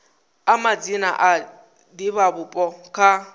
a madzina a divhavhupo kha